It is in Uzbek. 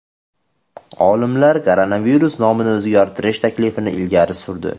Olimlar koronavirus nomini o‘zgartirish taklifini ilgari surdi.